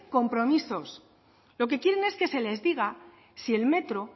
compromiso lo que quieren es que se les diga si el metro